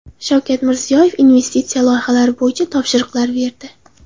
Shavkat Mirziyoyev investitsiya loyihalari bo‘yicha topshiriqlar berdi.